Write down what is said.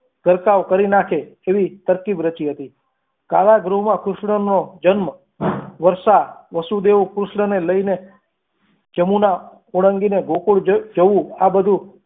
ઘરકાવ કરી નાખે તેવી તરકીબ રચી હતી કાળા ગૃહમાં કૃષ્ણનો વર્ષા વસુદેવ કૃષ્ણને લઈને યમુના ઓળંગીને ગોકુળ જવું આ બધું